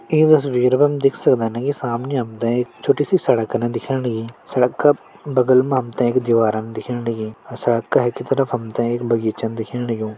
ईं तस्वीर पर हम देख सकदन कि सामने हमतें एक छोटी सि सड़कन दिखेण लग्यीं सड़क का बगल मा हमतें एक दिवारन दिखेण लग्यीं अर सड़क का हकि तरफ हमतें एक बगीचा दिखेण लग्युं।